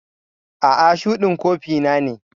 A'a, shuɗin kofi na ne.